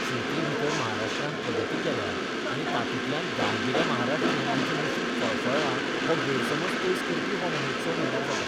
शेतींभितर महाराष्ट्रान प्रगती केल्या आनी तातूंतल्यान गांवगिन्या महाराष्ट्रियनाचें नशीब फळफळ्ळां हो गैरसमज पयस करपी हो महोत्सव म्हणल्यार जाता.